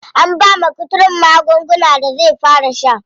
An bawa kuturun magungunan da zai fara sha.